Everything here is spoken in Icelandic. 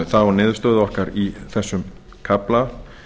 þá niðurstöðu okkar í þessum kafla